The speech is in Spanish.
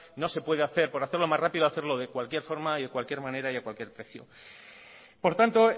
no se puede hacer por hacerlo más rápido hacerlo de cualquier forma y de cualquier manera y a cualquier precio por tanto